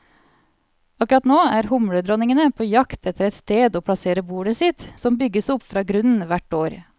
Akkurat nå er humledronningene på jakt etter et sted å plassere bolet sitt, som bygges opp fra grunnen hvert år.